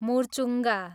Murchunga